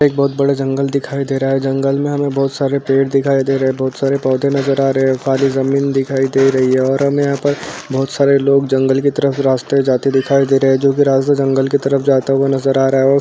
एक बहोत बड़े जंगल दिखाय दे रहा है। जंगल में हमें बहोत सारे पेड़ दिखायी दे रहे हैं। बहोत सारे पौधे नाजर आ रहे हैं। काली जमीन दिखाय दे रही है और हमें यहाँ पर बहोत सारे लोग जंगल की तरफ रास्ते जाते दिखाय दे रहे हैं जोकि रास्ता जंगल की तरफ जाता हुआ नजर रहा है और --